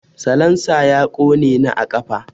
Salansa ya ƙone ni a ƙafa.